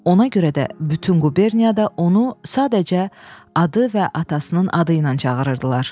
Ona görə də bütün quberniyada onu sadəcə adı və atasının adı ilə çağırırdılar.